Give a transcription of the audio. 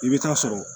I bɛ taa sɔrɔ